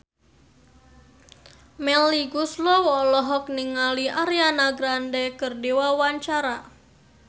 Melly Goeslaw olohok ningali Ariana Grande keur diwawancara